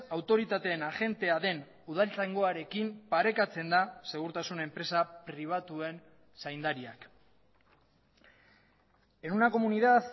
autoritateen agentea den udaltzaingoarekin parekatzen da segurtasun enpresa pribatuen zaindariak en una comunidad